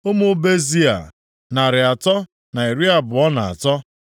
Ụmụ Bezai, narị atọ na iri abụọ na atọ (323).